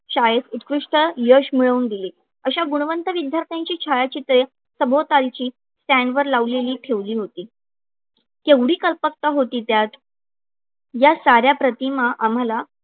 शाळेत उत्कृष्ट यश मिळवून दिले. अशा गुणवंत विद्यार्थ्यांची छायाचित्रे सभोवतालची stand वर लावलेली ठेवली होती. केवढी कल्पकता होती त्यात, या साऱ्या प्रतीमा आम्हाला